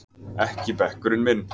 Ekki bekkurinn minn!